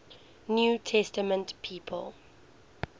new testament people